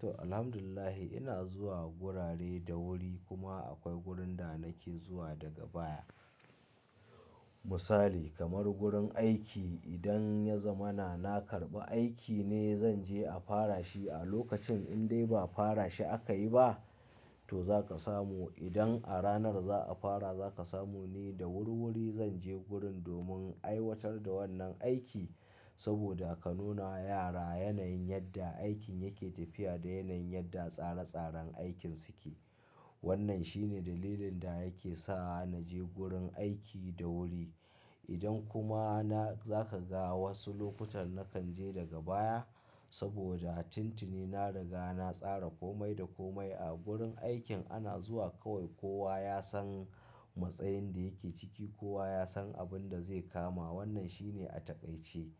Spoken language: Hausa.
To, Alhamdulillahi ina zuwa gurare da wuri kuma akwai gurin da nake zuwa daga baya. Misali kamar gurin aiki, idan ya zama na karɓi aiki ne zan je a fara shi. A lokacin in dai ba fara shi aka yi ba to za ka samu idan a ranar za a fara za ka samu ni da wuri-wuri. Zan je gurin domin aiwatar da wannan aiki saboda ka nuna yara yanayin yadda aikin yake tafiya da yanayin yadda tsare-tsaren aikin suke. Wannan shine dalilin da yake sa naje gurin aiki da wuri. Idan kuma na, za ka ga wasu lokutan nakan je daga baya saboda tintini na riga na tsara komai da komai. A gurin aikin ana zuwa kawai kowa ya san matsayin da yake ciki, kowa ya san abin da zai kama. Wannan shine a taƙaice.